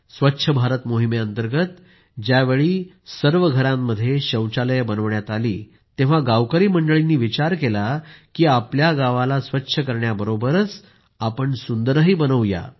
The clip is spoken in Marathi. स्वच्छ भारत मोहिमेअंतर्गत ज्यावेळी सर्वांच्या घरांमध्येच शौचालये बनविण्यात आली तर गावकरी मंडळींनी विचार केला की आपल्या गावाला स्वच्छ करण्याबरोबरच सुंदरही बनवू या